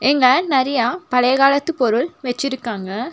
இங்க நெறைய பழைய காலத்து பொருள் வெச்சிருக்காங்க.